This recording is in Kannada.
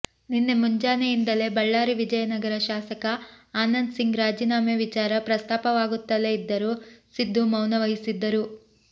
ನಿನ್ನೆ ಮುಂಜಾನೆಯಿಂದಲೇ ಬಳ್ಳಾರಿ ವಿಜಯನಗರ ಶಾಸಕ ಆನಂದ್ ಸಿಂಗ್ ರಾಜೀನಾಮೆ ವಿಚಾರ ಪ್ರಸ್ತಾಪವಾಗುತ್ತಲೇ ಇದ್ದರೂ ಸಿದ್ಧು ಮೌನವಹಿಸಿದ್ದರು